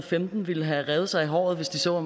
femten ville have revet sig i håret hvis de så